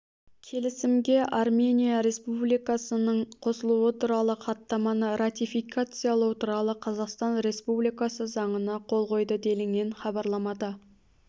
келісімге армения республикасының қосылуы туралы хаттаманы ратификациялау туралы қазақстан республикасы заңына қол қойды делінген хабарламада